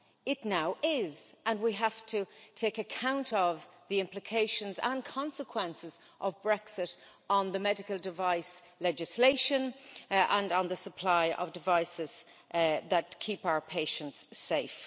It now is, and we have to take account of the implications and consequences of Brexit on the medical device legislation and on the supply of devices that keep our patients safe.